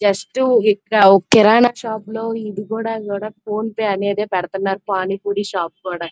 Just ఇప్పుడు కిరణం shop లో కూడా ఫోన్ పే నే పెడుతున్నారు. పానీ పూరి షాపు లో కూడా --